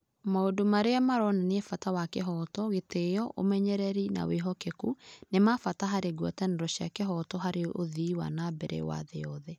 Maũndũ marĩa maronania bata wa kĩhooto, gĩtĩo, ũmenyereri, na wĩhokeku, nĩ ma bata harĩ ngwatanĩro cia kĩhooto harĩ ũthii wa na mbere wa thĩ yothe.